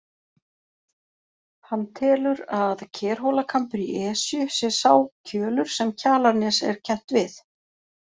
Hann telur að Kerhólakambur í Esju sé sá kjölur sem Kjalarnes er kennt við.